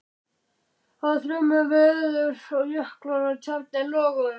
Það var þrumuveður og jöklar og tjarnir loguðu.